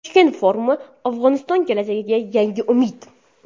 Toshkent forumi: Afg‘oniston kelajagiga yangi umid.